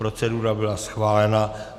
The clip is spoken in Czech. Procedura byla schválena.